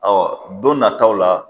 Ɔ don nan taw la.